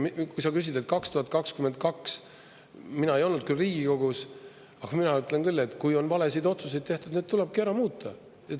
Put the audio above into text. Kui sa küsid, et 2022, siis mina ei olnud küll Riigikogus, aga mina ütlen küll, et kui on valesid otsuseid tehtud, siis need tulebki ära muuta.